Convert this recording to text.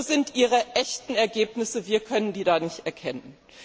Wo sind Ihre echten Ergebnisse? Wir können sie nicht erkennen!